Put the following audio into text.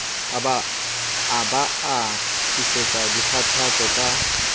a ba tlisetsa dikgathatso ka